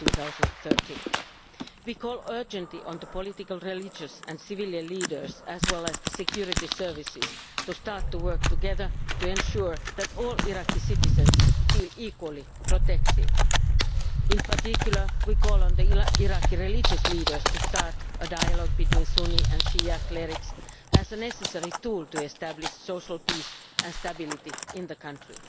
2013. We call urgently on political, religious and civilian leaders and on the security services to start to work together to ensure that all Iraqi citizens feel equally protected. In particular, we call on Iraqi religious leaders to start a dialogue between Sunni and Shia clerics as a necessary tool for the establishment of social peace and stability in the country.